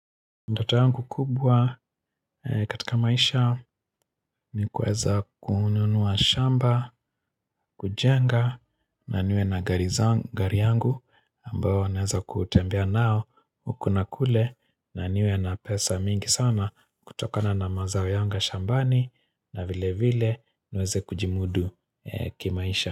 Ndota yangu kubwa katika maisha ni kuweza kununua shamba, kujenga na niwe na gari yangu ambao naweza kutembea nao Kuna kule na niwe na pesa mingi sana kutokana na mazao yangu ya shambani na vile vile niweze kujimudu kimaisha.